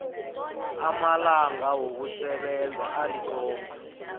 amalanga wokusebenza alikhomba